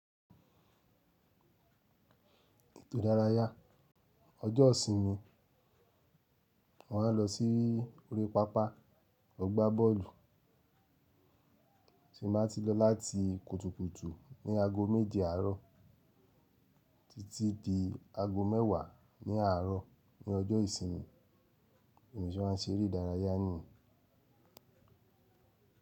Ètò ìdárayá ọjọ́ ìsinmi, wọ́n á lọ sí orí pápá mo gba boolu, tin ba ti lo lati kutukutu ni aago meje aaro títí di ago mẹ́wàá ní àárọ̀ ní ọjọ́ ìsinmi, bi mo ṣe máa ń ṣe eré idárayá nìyení.